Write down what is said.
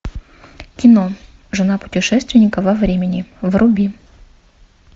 кино жена путешественника во времени вруби